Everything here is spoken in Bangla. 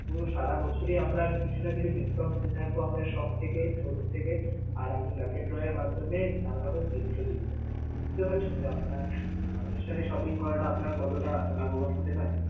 পুরো সারা বছরি আমরা কিছু না কিছু discount দিতে থাকব, আমরা সবথেকে showroom থেকে আর আপনার lucky draw এর মাধ্যমে Bangladesh বিশ্ব দিচ্ছে sir বুঝতে পারছেন যে আপনার আমাদের সাথে shopping করাটা আপনার কতটা লাভবান হতে পারে?